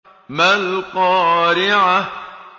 مَا الْقَارِعَةُ